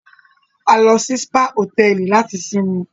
A lọ sì spa hotẹẹli làti sinmi